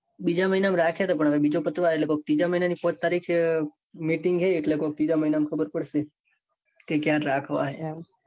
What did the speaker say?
બીજા મહિના માં રાખ્યા હતા. પણ બીજો પતવા આવ્યો. એટલે ત્રીજા મહિના ની પોંચ તારીખે meeting છે. એટલે કોક ત્રીજા મહિના માં ખબર પડશે. કે કયા રાખવા એમ.